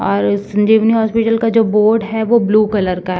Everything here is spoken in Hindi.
और इस सजीवनी हॉस्पिटल का जो बोर्ड है वो ब्लू कलर का --